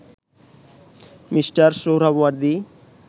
Mr Suhrawardy